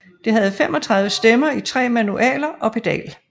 Det havde 35 stemmer i 3 manualer og pedal